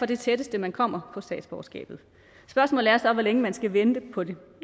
det tætteste man kommer på statsborgerskabet spørgsmålet er så hvor længe man skal vente på det